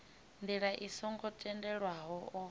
ndila i songo tendelwaho o